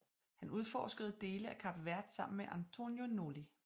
Han udforskede dele af Kap Verde sammen med António Noli